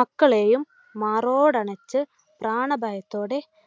മക്കളെയും മാറോടണച്ചു പ്രാണഭയത്തോടെ